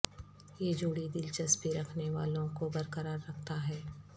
یہ جوڑی دلچسپی رکھنے والوں کو برقرار رکھتا ہے